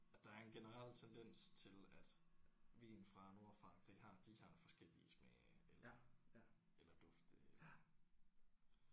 At der er en generel tendens til at vin fra Nordfrankrig har de her forskellige smage eller eller dufte eller